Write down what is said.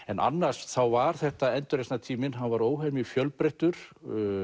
en annars þá var þetta endurreisnartíminn hann var óhemju fjölbreyttur